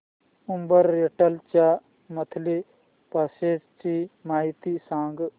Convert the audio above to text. Uber rental च्या monthly passes ची माहिती सांग